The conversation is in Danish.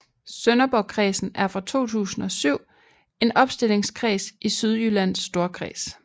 Sønderborgkredsen er fra 2007 en opstillingskreds i Sydjyllands Storkreds